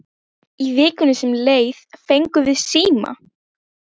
Í vikunni sem leið fengum við síma.